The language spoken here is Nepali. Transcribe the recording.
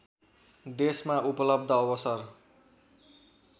देशमा उपलब्ध अवसर